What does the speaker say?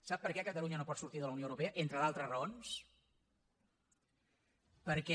sap per què catalunya no pot sortir de la unió europea entre d’altres raons perquè